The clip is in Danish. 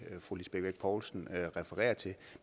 fru lisbeth bech poulsen refererer til